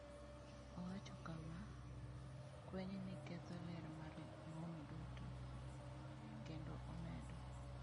Owacho kama: “Kwenyni ketho ler mar ng’om duto,” kendo omedo.